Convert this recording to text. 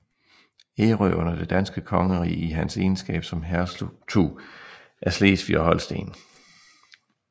Ærø under det danske kongerige i hans egenskab som hertug af Slesvig og Holsten